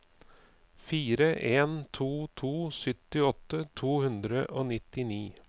fire en to to syttiåtte to hundre og nittini